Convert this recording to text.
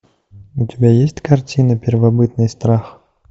у тебя есть картина первобытный страх